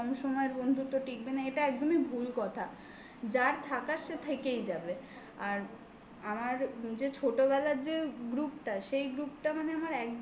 সময়ের বন্ধুত্ব টিকবে না. এটা একদমই ভুল কথা যারা থাকার সে থেকেই যাবে আর আমার যে ছোটবেলার যে group টা সেই group টা মানে আমার একদম